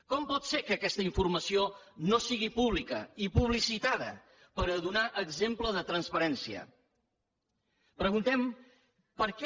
com pot ser que aquesta informació no sigui pública ni publicitada per donar exemple de transparència preguntem per què